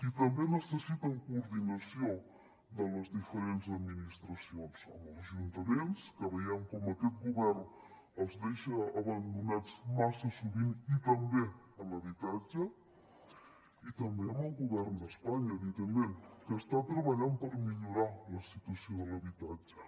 i també necessiten coordinació de les diferents administracions amb els ajuntaments que veiem com aquest govern els deixa abandonats massa sovint i també en l’habitatge i també amb el govern d’espanya evidentment que està treballant per millorar la situació de l’habitatge